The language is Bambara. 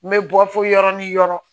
N bɛ bɔ fo yɔrɔ ni yɔrɔ